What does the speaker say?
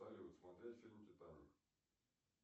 салют смотреть фильм титаник